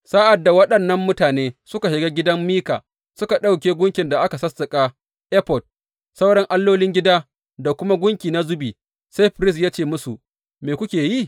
Sa’ad da waɗannan mutane suka shiga gidan Mika suka ɗauke gunkin da aka sassaƙa, efod, sauran allolin gida da kuma gunki na zubi, sai firist ya ce musu, Me kuke yi?